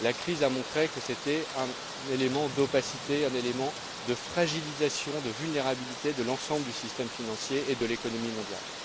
La crise a montré que c'était un élément d'opacité, un élément de fragilisation, de vulnérabilité de l'ensemble du système financier et de l'économie mondiale.